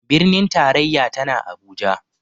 Birnin tarayya tana Abuja.